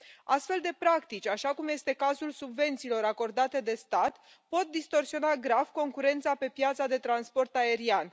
Astfel de practici, așa cum este cazul subvențiilor acordate de stat, pot distorsiona grav concurența pe piața de transport aerian.